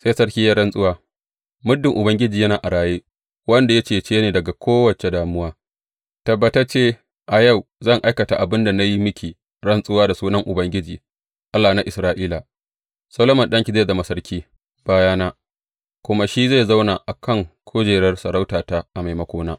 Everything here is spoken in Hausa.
Sai sarki ya yi rantsuwa, Muddin Ubangiji yana a raye, wanda ya cece ni daga kowace damuwa, tabbatacce a yau zan aikata abin da na yi miki rantsuwa da sunan Ubangiji, Allah na Isra’ila; Solomon ɗanki zai zama sarki bayana, kuma shi zai zauna a kan kujerar sarautata a maimakona.